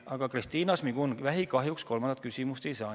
Aga Kristina Šmigun-Vähi kahjuks kolmandat küsimust esitada ei saa.